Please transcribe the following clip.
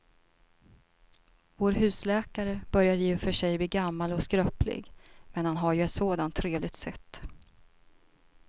Vår husläkare börjar i och för sig bli gammal och skröplig, men han har ju ett sådant trevligt sätt!